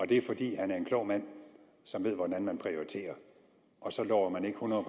det er fordi han er en klog mand som ved hvordan man prioriterer og så lover man ikke hundrede